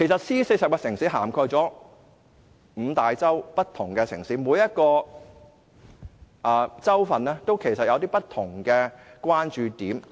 C40 涵蓋五大洲不同城市，每個洲都有不同的關注點。